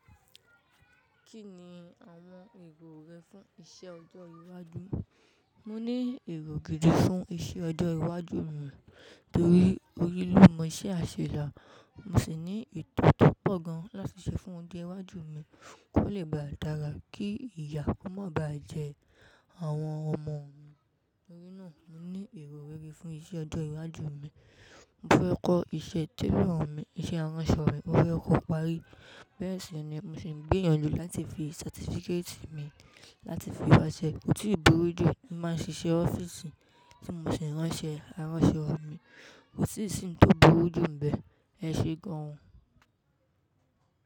Kí ni àwọn èrò rẹ fún iṣẹ́ ọjọ́ iwájú? Mo ní èrò gidi fún iṣẹ́ ọjọ́ iwájú mi, torí orí ló mọ iṣẹ́ àṣelà. Mo sì ní ètò tí ó pọ̀ gan láti ṣe fún ọjọ́ iwájú mi, kó lè ba à dára kí ìyá kó mọ́ ọba jẹ àwọn ọmọ mi. Torí náà, mo ní èrò rere fún iṣẹ́ ọjọ́ iwájú mi. Mo fẹ́ kọ́ iṣẹ́ télọ̀ọ mi, iṣẹ́ aránṣọ mi. Mo fẹ́ kọ́ parí. Bẹ́ẹ̀ sì ni mo sì ń gbẹìyànlò láti fi certificate mi láti fi wáṣẹ́. Kò tiì bùrú jù, tí mo báa ń ṣiṣẹ́ ọ́fíìsì tí mo sì ń ránṣẹ́ aránṣọ mi. Kò tíì sì ń tó bùrú jù nibẹ̀, ẹ ṣe gan.